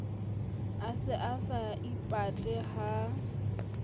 a se a saipatle ha